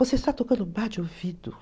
Você está tocando Bach de ouvido.